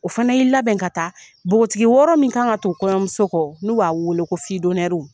O fana y'i labɛn ka taa bogotigi wɔɔrɔ min kan ka tugu kɔɲɔmuso kɔ n'u b'a weele ko fidɔnɛriw.